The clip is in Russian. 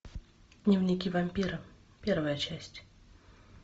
дневники вампира первая часть